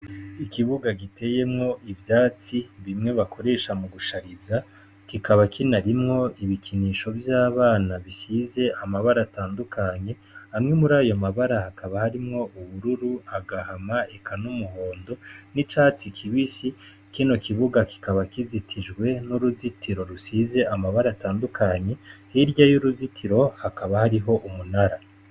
Ikibuga giteyemwo ivyatsi bimwe bakoresha mugushariza, kikaba kinarimwo ibikinisho vy'abana bisize amabara atandukanye, amwe murayo mabara hakaba harimwo ubururu, agahama eka n'umuhondo n'icatsi kibisi, kino kibuga kikaba kizitijwe n'uruzitiro rusize amabara atandukanye, hirya y'uruzitiro hakaba hariho umunara.